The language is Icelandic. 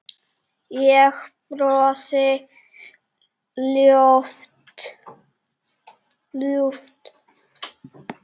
Ég brosi ljúft að þessu.